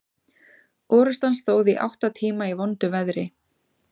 Orrustan stóð í átta tíma í vondu veðri.